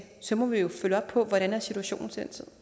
så må vi jo følge op på hvordan situationen